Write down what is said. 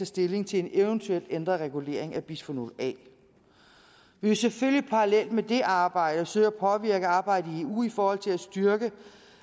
stilling til en eventuel ændret regulering af bisfenol a vi vil selvfølgelig parallelt med det arbejde søge at påvirke arbejdet i eu i forhold til at styrke